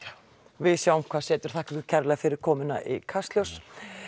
við sjáum hvað setur þakka ykkur kærlega fyrir komuna í Kastljós